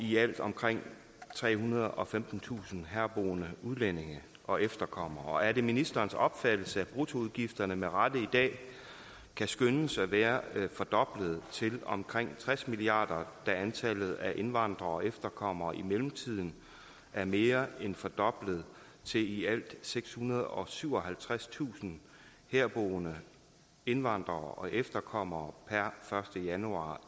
i alt omkring trehundrede og femtentusind herboende udlændinge og efterkommere og er det ministerens opfattelse at bruttoudgifterne med rette i dag kan skønnes at være fordoblet til omkring tres milliard kr da antallet af indvandrere og efterkommere i mellemtiden er mere end fordoblet til i alt sekshundrede og syvoghalvtredstusind herboende indvandrere og efterkommere per første januar